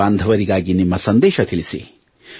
ದೇಶಬಾಂಧವರಿಗಾಗಿ ನಿಮ್ಮ ಸಂದೇಶ ತಿಳಿಸಿ